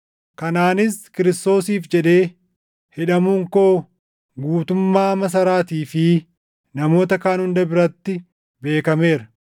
Kanaanis Kiristoosiif jedhee hidhamuun koo guutummaa masaraatii fi namoota kaan hunda biratti beekameera.